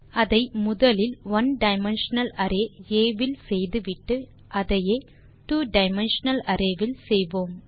அதை முதலில் one dimensional array ஆ இல் செய்து விட்டு அதையே two டைமென்ஷனல் அரே இல் செய்வோம்